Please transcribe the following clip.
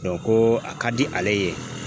ko a ka di ale ye